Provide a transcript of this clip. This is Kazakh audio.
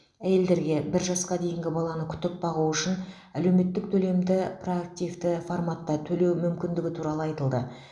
әйелдерге бір жасқа дейінгі баланы күтіп бағу үшін әлеуметтік төлемді проактивті форматта төлеу мүмкіндігі туралы айтылды